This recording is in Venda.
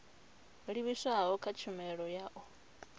livhiswaho kha tshumelo ya u